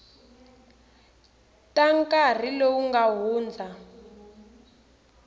ta nkarhi lowu nga hundza